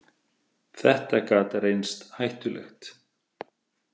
Þetta gat reynst hættulegt.